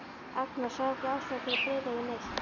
Agnar sá ekki ástæðu til að breiða yfir neitt.